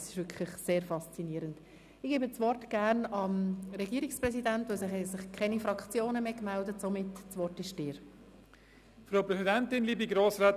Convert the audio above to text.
Ich gebe sehr gerne dem Herrn Regierungspräsidenten das Wort, denn es haben sich keine Fraktionen mehr gemeldet.